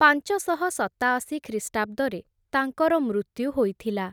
ପାଞ୍ଚଶହ ସତାଅଶୀ ଖ୍ରୀଷ୍ଟାବ୍ଦରେ, ତାଙ୍କର ମୃତ୍ୟୁ ହୋଇଥିଲା ।